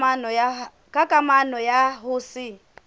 ka kamano ya ho se